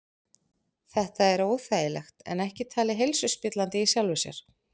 Þetta er óþægilegt en ekki talið heilsuspillandi í sjálfu sér.